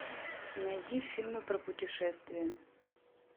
найди фильмы про путешествия